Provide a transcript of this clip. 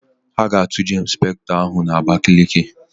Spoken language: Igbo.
A ga-atụje Ịnspektọ ahụ n'Abakaliki.